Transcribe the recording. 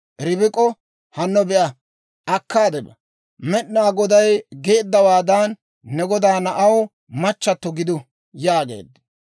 Ribik'o hanno be'a; akkaade ba; Med'inaa Goday geeddawaadan ne godaa na'aw machchatto gidu» yaageeddino.